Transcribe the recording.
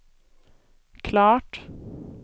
klart